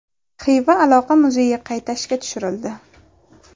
Xiva aloqa muzeyi qayta ishga tushirildi.